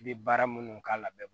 I bɛ baara minnu k'a la bɛɛ b'a